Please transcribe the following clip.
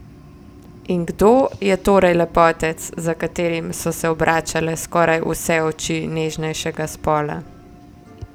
In kdo je torej lepotec, za katerim so se obračale skoraj vse oči nežnejšega spola?